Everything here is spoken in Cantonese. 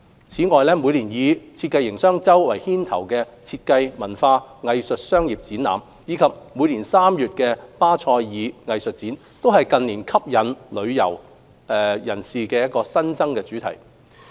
此外，每年以設計營商周為牽頭的設計、文化、藝術商業展覽，以及每年3月的巴塞爾藝術展，都是近年吸引旅客的新增主題。